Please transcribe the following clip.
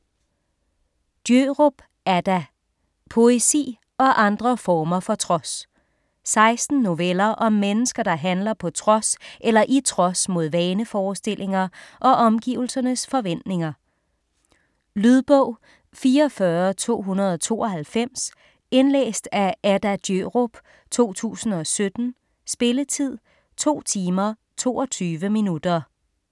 Djørup, Adda: Poesi og andre former for trods 16 noveller om mennesker, der handler på trods eller i trods mod vaneforestillinger og omgivelsernes forventninger. Lydbog 44292 Indlæst af Adda Djørup, 2017. Spilletid: 2 timer, 22 minutter.